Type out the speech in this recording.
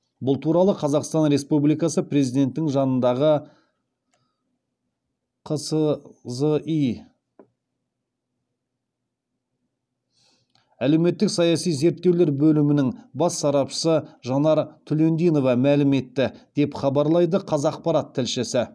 бұл туралы қазақстан республикасы президентінің жанындағы қсзи әлеуметтік саяси зерттеулер бөлімінің бас сарапшысы жанар түлендинова мәлім етті деп хабарлайды қазақпарат тілшісі